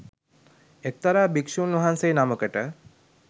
එක්තරා භික්ෂූන්වහන්සේ නමකට